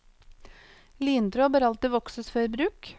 Lintråd bør alltid vokses før bruk.